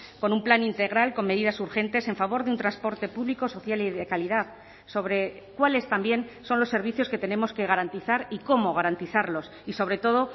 con un plan integral con medidas urgentes en favor de un transporte público social y de calidad sobre cuáles también son los servicios que tenemos que garantizar y cómo garantizarlos y sobre todo